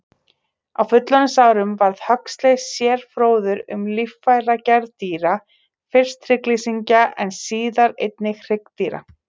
Á fullorðinsárum varð Huxley sérfróður um líffæragerð dýra, fyrst hryggleysingja en síðar einnig hryggdýra.